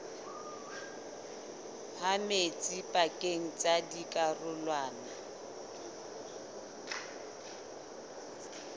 ha metsi pakeng tsa dikarolwana